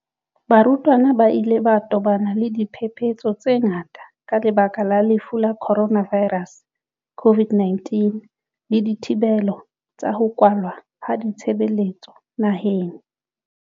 Barutwana ba ile ba tobana le diphephetso tse ngata ka lebaka la Lefu la Coronavi rus COVID-19 le dithibelo tsa ho kwalwa ha ditshebeletso naheng.